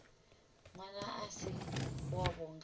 ṅwana a si wavho nga